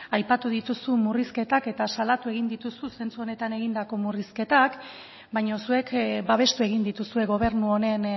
aipatu dituzu murrizketak eta salatu egiten dituzu zentzu honetan egindako murrizketak baina zuek babestu egin dituzue gobernu honen